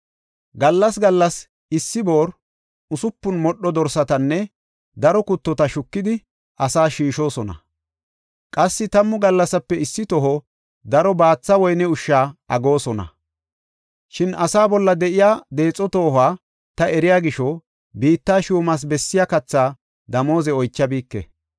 Gallas gallas issi boori, usupun modho dorsatanne daro kuttota shukidi asaas shiishosona; qassi tammu gallasape issi toho daro baatha woyne ushsha aggoosona. Shin asaa bolla de7iya deexo toohuwa ta eriya gisho biitta shuumas bessiya katha damooze oychabike.